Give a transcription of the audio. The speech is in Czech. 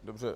Dobře.